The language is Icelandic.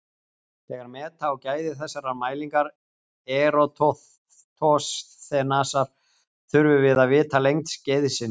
Þegar meta á gæði þessarar mælingar Eratosþenesar þurfum við að vita lengd skeiðsins.